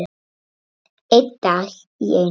Einn dag í einu.